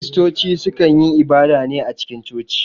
Kiristoci su kan yi ibada ne a cikin coci